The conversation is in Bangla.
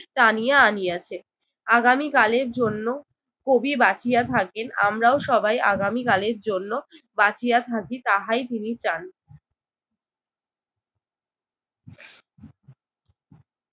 টানিয়া আনিয়াছে। আগামীকালের জন্য কবি বাঁচিয়া থাকেন আমরাও সবাই আগামীকালের জন্য বাঁচিয়া থাকি তাহাই তিনি চান।